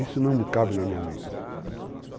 Isso não cabe na minha mente.